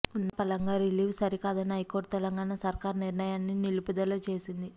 ఉన్నపళంగా relieve సరికాదని high court Telangana సర్కారు నిర్ణయాన్ని నిలుపుదల చేసింది